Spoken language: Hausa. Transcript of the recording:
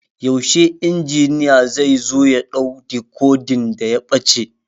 Yaushe injiniya zai zo ya ɗau dikodin da ya ɓaci?